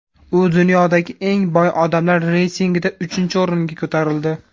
U dunyodagi eng boy odamlar reytingida uchinchi o‘ringa ko‘tarildi .